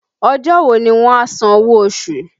Ọjọ́ wo ni wọ́n a san owó oṣù?